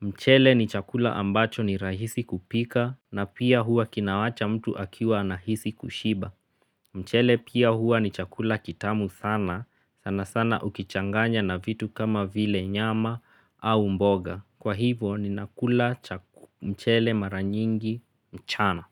Mchele ni chakula ambacho ni rahisi kupika na pia hua kinawacha mtu akiwa anahisi kushiba. Mchele pia hua ni chakula kitamu sana, sana sana ukichanganya na vitu kama vile nyama au mboga. Kwa hivyo ninakula mchele mara nyingi mchana.